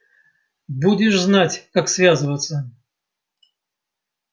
будешь знать как связываться